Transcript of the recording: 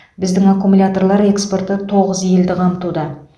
біздің аккумуляторлар экспорты тоғыз елді қамтуда